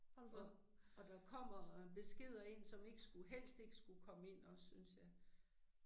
Og og der kommer beskeder ind som ikke skulle, helst ikke skulle komme ind også synes jeg